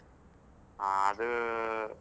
ಹಾ ಅದೂ,